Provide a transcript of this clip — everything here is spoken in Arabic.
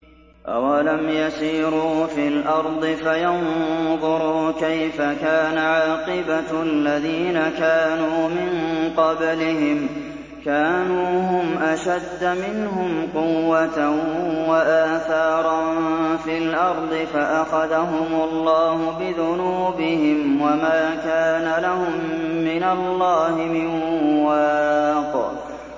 ۞ أَوَلَمْ يَسِيرُوا فِي الْأَرْضِ فَيَنظُرُوا كَيْفَ كَانَ عَاقِبَةُ الَّذِينَ كَانُوا مِن قَبْلِهِمْ ۚ كَانُوا هُمْ أَشَدَّ مِنْهُمْ قُوَّةً وَآثَارًا فِي الْأَرْضِ فَأَخَذَهُمُ اللَّهُ بِذُنُوبِهِمْ وَمَا كَانَ لَهُم مِّنَ اللَّهِ مِن وَاقٍ